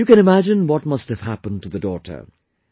You can imagine what must have happened to the daughter...